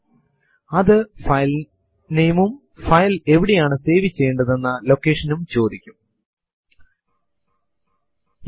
ഇതും നമ്മുടെ machine ന്റെ മറ്റു പല സ്വഭാവവിശേഷതകളും അറിയുന്നതിനായി നാമെ കമാൻഡ് നമുക്കുണ്ട്